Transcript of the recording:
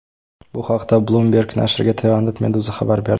Bu haqda Bloomberg nashriga tayanib, Meduza xabar berdi .